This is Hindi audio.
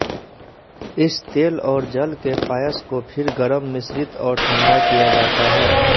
इस तेल और जल के पायस को फिर गरम मिश्रित और ठंडा किया जाता है